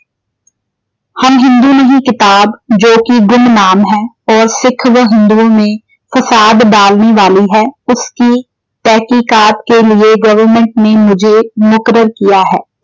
ਹਮ ਹਿੰਦੂ ਨਹੀਂ ਕਿਤਾਬ ਜੋ ਕਿ ਗੁਮਨਾਮ ਹੈ । ਔਰ ਸਿੱਖ ਵਹ ਹਿੰਦੂਆਂ ਮੇਂ ਫਸਾਦ ਡਾਲਨੇ ਵਾਲੀ ਹੈ ਉਸਕੀ ਤਹਿਕੀਕਾਤ ਕੇ ਲੀਏ government ਨੇ ਮੁਜੇ ਮੁਕੱਰਰ ਕੀਆ ਹੈ